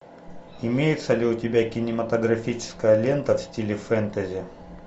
имеется ли у тебя кинематографическая лента в стиле фэнтези